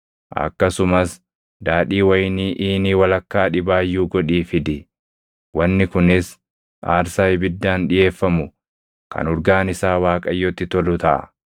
Akkasumas daadhii wayinii iinii walakkaa dhibaayyuu godhii fidi. Wanni kunis aarsaa ibiddaan dhiʼeeffamu kan urgaan isaa Waaqayyotti tolu taʼa.